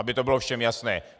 Aby to bylo všem jasné.